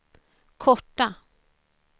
korta